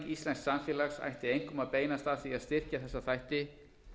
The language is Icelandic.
siðvæðing íslensks samfélags ætti einkum beinast að því að styrkja þessa þætti